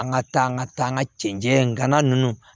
An ka taa an ka taa an ka cɛncɛn gana ninnu